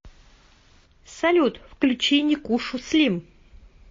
салют включи никушу слим